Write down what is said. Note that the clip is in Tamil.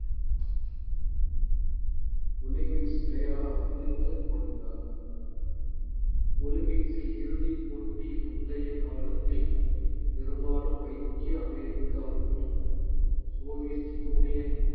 ஒலிம்பிக்ஸ் விளையாட அனுமதிக்கப்படுகிறார்கள் ஒலிம்பிக்ஸில் இறுதிப் போட்டி முந்தைய காலத்தில் பெரும்பாலும் ஐக்கிய அமெரிக்காவுக்கும் சோவியத் யூனியன்